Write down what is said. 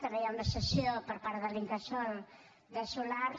també hi ha una cessió per part de l’incasòl de solars